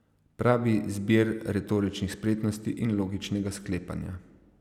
Pravi zbir retoričnih spretnosti in logičnega sklepanja.